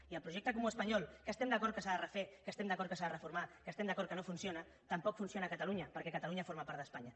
i el projecte comú espanyol que estem d’acord que s’ha de refer que estem d’acord que s’ha de reformar que estem d’acord que no funciona tampoc funciona a catalunya perquè catalunya forma part d’espanya